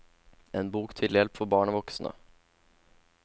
En bok til hjelp for barn og voksne.